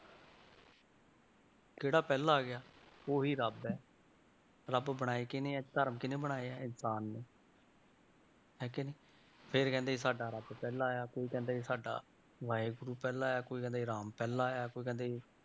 ਕਿਹੜਾ ਪਹਿਲਾਂ ਆ ਗਿਆ ਉਹੀ ਰੱਬ ਹੈ, ਰੱਬ ਬਣਾਏ ਕਿਹਨੇ ਹੈ ਧਰਮ ਕਿਹਨੇ ਬਣਾਏ ਹੈ ਇਨਸਾਨ ਨੇ ਹੈ ਕਿ ਨਹੀਂ ਫਿਰ ਕਹਿੰਦੇ ਜੀ ਸਾਡਾ ਰੱਬ ਪਹਿਲਾਂ ਆਇਆ, ਕੋਈ ਕਹਿੰਦਾ ਸਾਡਾ ਵਾਹਿਗੁਰੂ ਪਹਿਲਾਂ ਆਇਆ, ਕੋਈ ਕਹਿੰਦੇ ਰਾਮ ਪਹਿਲਾਂ ਆਇਆ ਕੋਈ ਕਹਿੰਦੇ